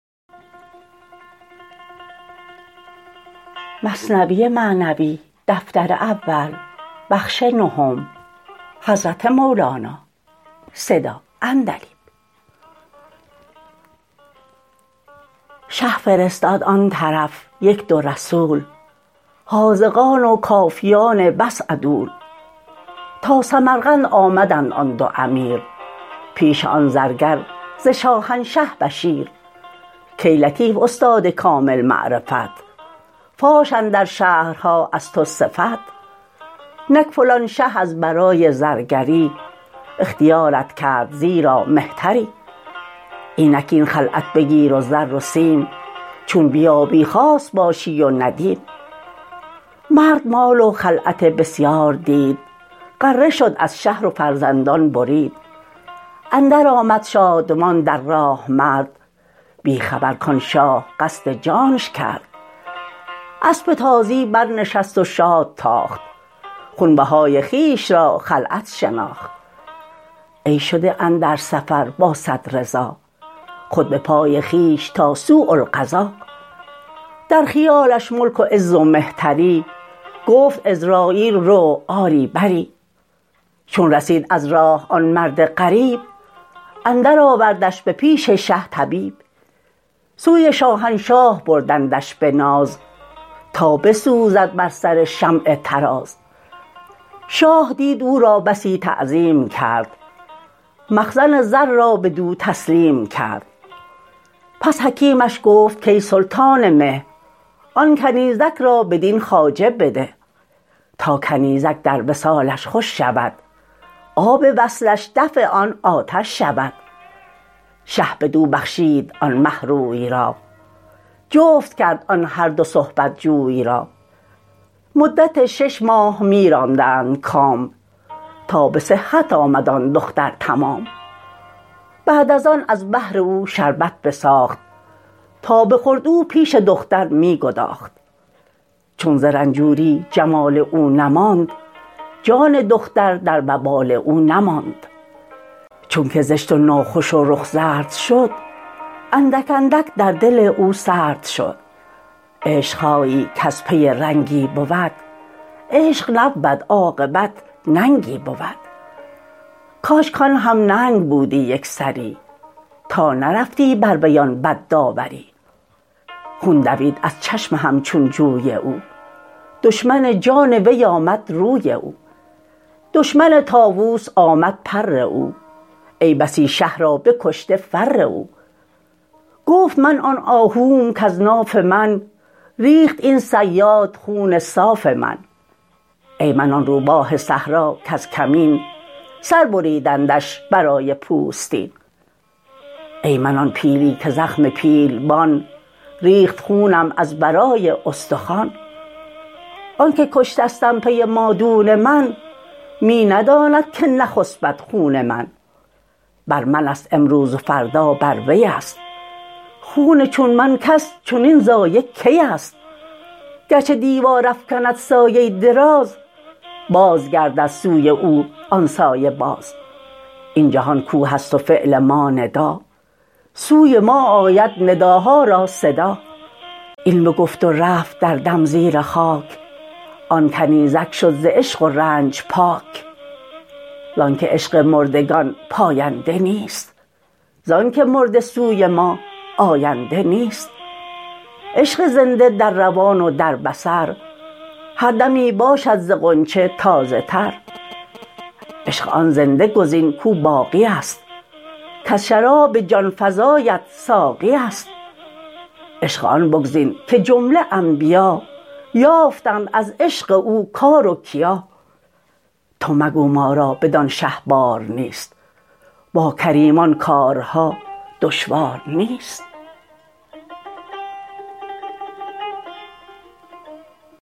شه فرستاد آن طرف یک دو رسول حاذقان و کافیان بس عدول تا سمرقند آمدند آن دو امیر پیش آن زرگر ز شاهنشه بشیر کای لطیف استاد کامل معرفت فاش اندر شهرها از تو صفت نک فلان شه از برای زرگری اختیارت کرد زیرا مهتری اینک این خلعت بگیر و زر و سیم چون بیایی خاص باشی و ندیم مرد مال و خلعت بسیار دید غره شد از شهر و فرزندان برید اندر آمد شادمان در راه مرد بی خبر کان شاه قصد جانش کرد اسپ تازی برنشست و شاد تاخت خونبهای خویش را خلعت شناخت ای شده اندر سفر با صد رضا خود به پای خویش تا سوء القضا در خیالش ملک و عز و مهتری گفت عزراییل رو آری بری چون رسید از راه آن مرد غریب اندر آوردش به پیش شه طبیب سوی شاهنشاه بردندش به ناز تا بسوزد بر سر شمع طراز شاه دید او را بسی تعظیم کرد مخزن زر را بدو تسلیم کرد پس حکیمش گفت کای سلطان مه آن کنیزک را بدین خواجه بده تا کنیزک در وصالش خوش شود آب وصلش دفع آن آتش شود شه بدو بخشید آن مه روی را جفت کرد آن هر دو صحبت جوی را مدت شش ماه می راندند کام تا به صحت آمد آن دختر تمام بعد از آن از بهر او شربت بساخت تا بخورد و پیش دختر می گداخت چون ز رنجوری جمال او نماند جان دختر در وبال او نماند چونک زشت و ناخوش و رخ زرد شد اندک اندک در دل او سرد شد عشق هایی کز پی رنگی بود عشق نبود عاقبت ننگی بود کاش کان هم ننگ بودی یکسری تا نرفتی بر وی آن بد داوری خون دوید از چشم همچون جوی او دشمن جان وی آمد روی او دشمن طاووس آمد پر او ای بسی شه را بکشته فر او گفت من آن آهوم کز ناف من ریخت این صیاد خون صاف من ای من آن روباه صحرا کز کمین سر بریدندش برای پوستین ای من آن پیلی که زخم پیلبان ریخت خونم از برای استخوان آنکه کشتستم پی مادون من می نداند که نخسپد خون من بر منست امروز و فردا بر وی است خون چون من کس چنین ضایع کی است گرچه دیوار افکند سایه دراز باز گردد سوی او آن سایه باز این جهان کوه است و فعل ما ندا سوی ما آید نداها را صدا این بگفت و رفت در دم زیر خاک آن کنیزک شد ز عشق و رنج پاک زانک عشق مردگان پاینده نیست زانک مرده سوی ما آینده نیست عشق زنده در روان و در بصر هر دمی باشد ز غنچه تازه تر عشق آن زنده گزین کو باقی است کز شراب جان فزایت ساقی است عشق آن بگزین که جمله انبیا یافتند از عشق او کار و کیا تو مگو ما را بدان شه بار نیست با کریمان کارها دشوار نیست